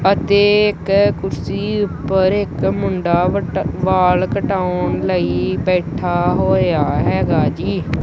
ਅਤੇ ਇੱਕ ਕੁਰਸੀ ਉਪਰ ਇੱਕ ਮੁੰਡਾ ਵਟ ਬਾਲ ਕਟਾਉਣ ਲਈ ਬੈਠਾ ਹੋਏ ਆ ਹੈਗਾ ਜੀ।